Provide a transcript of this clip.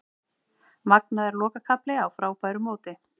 Magnaður lokakafli á frábæru móti